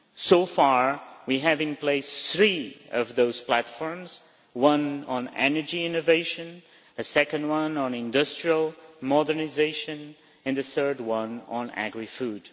So far we have in place three of those platforms one on energy innovation, a second one on industrial modernisation, and the third one on agri food.